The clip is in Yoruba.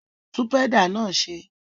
Tún pẹ́dà náà ṣe!